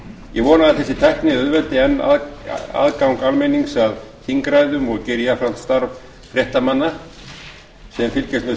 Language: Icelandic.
ég vona að þessi tækni auðveldi enn aðgang almennings að þingræðum og geri jafnframt starf fréttamanna sem fylgjast með